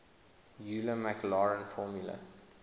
euler maclaurin formula